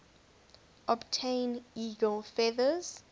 obtain eagle feathers